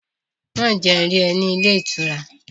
Má jẹ́ n rí ọ ní ilé ìtura!